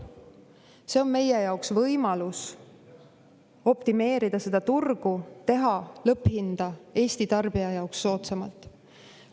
See on meie jaoks võimalus optimeerida turgu, teha lõpphinda Eesti tarbija jaoks soodsamaks.